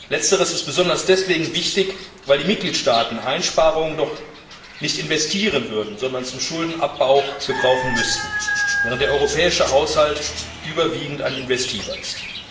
Letzteres ist besonders deswegen wichtig, weil die Mitgliedstaaten Einsparungen nicht investieren würden, sondern zum Schuldenabbau gebrauchen müssten, während der europäische Haushalt überwiegend ein investiver ist.